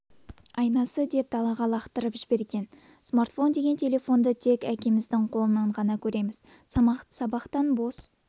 айнасы деп далаға лақтырып жіберген смартфон деген телефонды тек әкеміздің қолынан ғана көреміз сабақтан бос